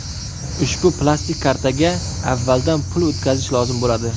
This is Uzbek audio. Ushbu plastik kartaga avvaldan pul o‘tkazish lozim bo‘ladi.